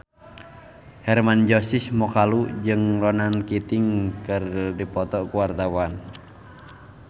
Hermann Josis Mokalu jeung Ronan Keating keur dipoto ku wartawan